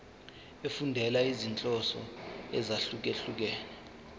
efundela izinhloso ezahlukehlukene